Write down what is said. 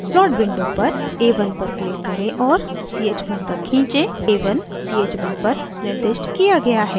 plot window पर a1 पर click करें और ch1 तक खींचें a1 ch1 पर निर्दिष्ट किया गया है